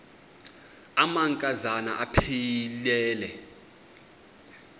amanka zana aphilele